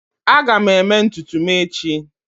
Aga m eme ntutu m echi